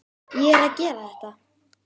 Ég er að gera þetta.